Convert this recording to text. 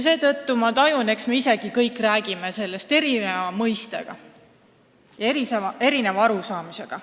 Seetõttu ma tajun, et eks me isegi kõik räägime sellest erineva arusaamisega ja kui erinevast mõistest.